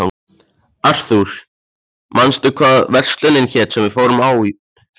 Arthur, manstu hvað verslunin hét sem við fórum í á fimmtudaginn?